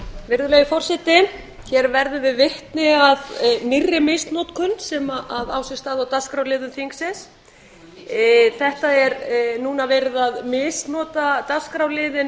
virðulegi forseti hér verðum við vitni að nýrri misnotkun sem á sér stað á dagskrárliðum þingsins þetta er núna verið að misnota dagskrárliðinn